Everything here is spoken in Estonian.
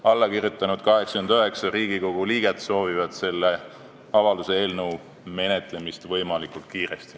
Allakirjutanud 89 Riigikogu liiget soovivad selle avalduse eelnõu menetlemist võimalikult kiiresti.